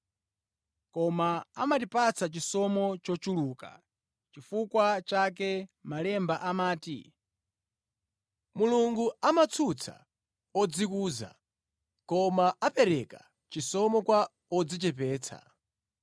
Koma amatipatsa chisomo chochuluka. Nʼchifukwa chake Malemba amati, “Mulungu amatsutsa odzikuza, koma apereka chisomo kwa odzichepetsa.”